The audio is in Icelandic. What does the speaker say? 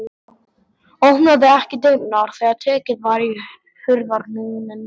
Opnaði ekki dyrnar þegar tekið var í hurðarhúninn.